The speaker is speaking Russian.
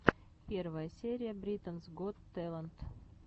первая серия британс гот тэлэнт